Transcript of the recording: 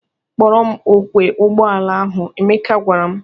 "Kporọ m ọkwọ ụgbọala ahụ," Emeka gwara m.